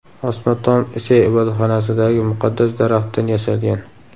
Osma tom Ise ibodatxonasidagi muqaddas daraxtdan yasalgan.